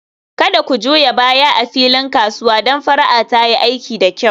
Kada ku juya baya a filin kasuwa don fara'a ta yi aiki da kyau